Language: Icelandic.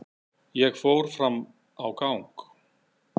Ég fór fram á gang.